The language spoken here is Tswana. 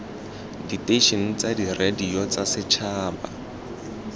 diteišene tsa diradio tsa setšhaba